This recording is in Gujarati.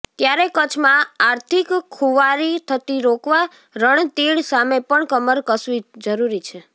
ત્યારે કચ્છમાં આિાર્થક ખુવારી થતી રોકવા રણતીડ સામે પણ કમર કસવી જરૃરી છે